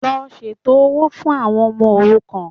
Lọ ṣètò owó fún àwọn ọmọ òrukàn